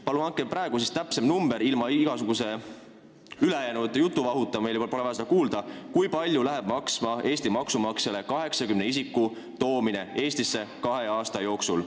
Palun andke praegu täpsem number – ilma igasuguse jutuvahuta, mida meil pole vaja kuulda –, kui palju läheb meie maksumaksjale maksma 80 isiku toomine Eestisse kahe aasta jooksul.